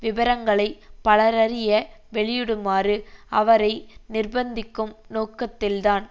விபரங்களை பலரறிய வெளியிடுமாறு அவரை நிர்பந்திக்கும் நோக்கத்தில்தான்